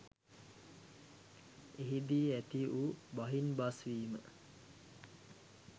එහිදී ඇතිවූ බහින්බස්වීම